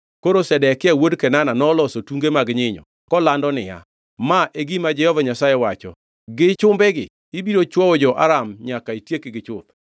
Koro Zedekia wuod Kenana noloso tunge mag nyinyo kolando niya, “Ma e gima Jehova Nyasaye owacho, ‘Gi chumbegi ibiro chwowo jo-Aram nyaka itiekgi chuth.’ ”